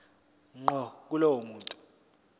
ngqo kulowo muntu